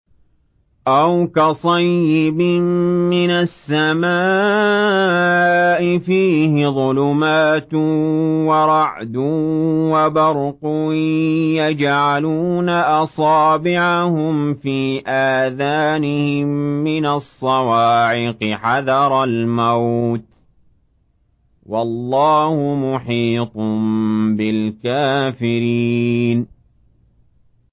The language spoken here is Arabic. أَوْ كَصَيِّبٍ مِّنَ السَّمَاءِ فِيهِ ظُلُمَاتٌ وَرَعْدٌ وَبَرْقٌ يَجْعَلُونَ أَصَابِعَهُمْ فِي آذَانِهِم مِّنَ الصَّوَاعِقِ حَذَرَ الْمَوْتِ ۚ وَاللَّهُ مُحِيطٌ بِالْكَافِرِينَ